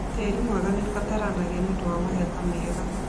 Tĩĩri mwega nĩ ũbataranagia nĩũndũ wa magetha mega.